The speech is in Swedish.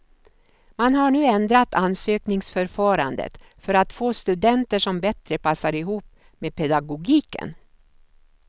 Man har nu ändrat ansökningsförfarandet för att få studenter som bättre passar ihop med pedagogiken.